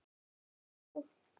Hefur fengið nóg!